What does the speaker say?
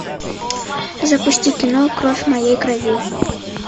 запусти кино кровь моей крови